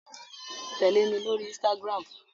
Tẹ̀lé mi lóri Instagram.